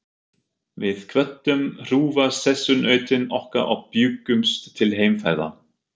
Við kvöddum hrjúfa sessunautinn okkar og bjuggumst til heimferðar.